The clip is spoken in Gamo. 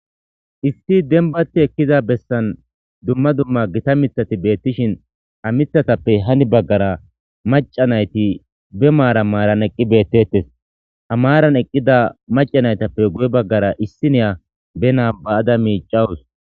Issi denbati ekkiza bessan dumma dumma gita mithati beettishin ha mithatappe hani baggara maca nayti be maara maaran eqqi beettettes ha maaran eqqida maca naytappe guye baggara issi niya be naaba7ada miicawus.